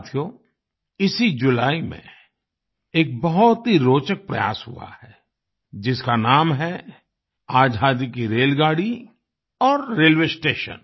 साथियो इसी जुलाई में एक बहुत ही रोचक प्रयास हुआ है जिसका नाम है आज़ादी की रेलगाड़ी और रेलवे स्टेशन